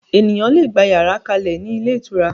Ènìyàn lè gbà yàrá kalẹ ni ilé ìtura